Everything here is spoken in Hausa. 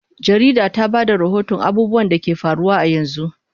Jarida ta ba da rahoton abubuwan da ke faruwa a yanzu.